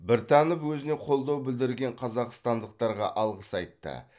біртанов өзіне қолдау білдірген қазақстандықтарға алғыс айтты